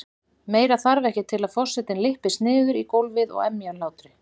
Meira þarf ekki til að forsetinn lyppist niður í gólfið og emji af hlátri.